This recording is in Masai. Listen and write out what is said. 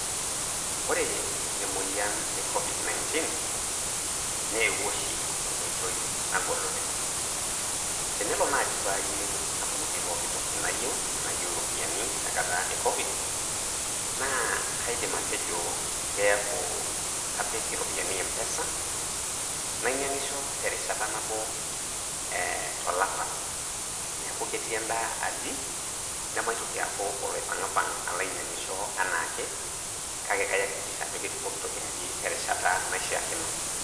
Ore emoyian e Covid-19 ,neewuo oshi tenkoitoi nagol oleng'. Tenelo naji payieu natumoki pooki toki nayieu, nayieu iropiyiani tenkata e Covid ,na kaidim atejo kiaku kapik iropiyiani M-pesa, nainyang'isho terishata nabo tolapa. Neeku ketii endaa aji, nemaitoki aaku oloipang'ipang' alo ainyang'isho enaake, kake kaiakikisha ajo ketii pooki toki aji terishata naishaakino.